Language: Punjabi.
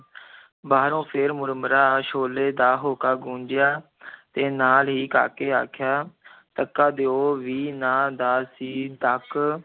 ਬਾਹਰੋਂ ਫਿਰ ਮੁਰਮੁਰਾ, ਛੋਲੇ ਦਾ ਹੋਕਾ ਗੂੰਜਿਆ ਤੇ ਨਾਲ ਹੀ ਕਾਕੇ ਆਖਿਆ ਤੱਕਾ ਦਿਓ ਵੀ ਨਾ, ਦਾ ਜੀ ਤੱਕ